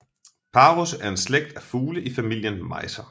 Parus er en slægt af fugle i familien mejser